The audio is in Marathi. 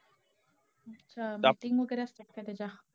हा meeting वगैरे असत्यात का त्याच्या?